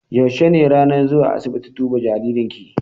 Yaushe ne ranar zuwa asiibiti duba jaririn ki?